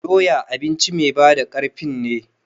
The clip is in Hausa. Doya abinci mai ba da ƙarfin ne